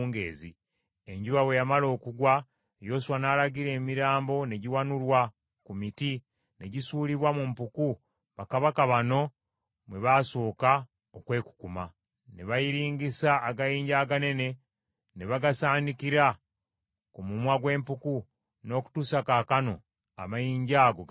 Enjuba bwe yamala okugwa Yoswa n’alagira emirambo ne giwanulwa ku miti ne gisuulibwa mu mpuku bakabaka bano mwe basooka okwekukuma, ne bayiringisa agayinja aganene ne bagasaanikira ku mumwa gw’empuku n’okutuusa kaakano amayinja ago gakyaliko.